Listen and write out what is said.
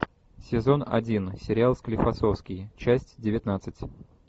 сезон один сериал склифосовский часть девятнадцать